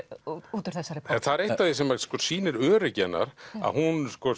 út úr þessari bók það er eitt af því sem sýnir öryggi hennar að hún sko